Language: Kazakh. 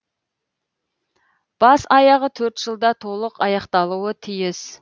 бас аяғы төрт жылда толық аяқталуы тиіс